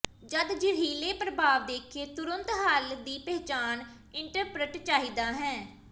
ਜਦ ਜ਼ਹਿਰੀਲੇ ਪ੍ਰਭਾਵ ਦੇਖਿਆ ਤੁਰੰਤ ਹੱਲ ਹੈ ਦੀ ਪਛਾਣ ਇੰਟਰੱਪਟ ਚਾਹੀਦਾ ਹੈ